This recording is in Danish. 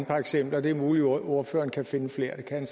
par eksempler det er muligt ordføreren kan finde flere det kan